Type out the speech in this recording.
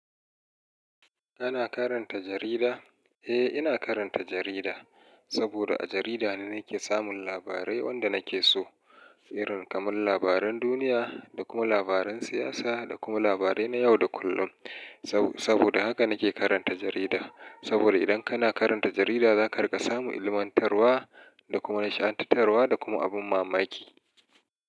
Ana karanta jarida? Eh, ina karanta jarida. Saboda a jarida ne nake samun labarai wanda nake so. Irin kamar labaran duniya, da kuma labaran siyasa, da kuma labarai na yau da kullum. Sabo-saboda haka nake karanta jarida. Saboda idan kana karanta jarida zaka riƙa samu ilmantarwa, da kuma nishadantarwa, da kuma abin mamaki.